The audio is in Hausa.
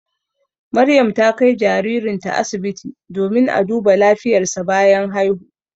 Maryam ta kai jaririnta asibiti domin a duba lafiyarsa bayan haihu.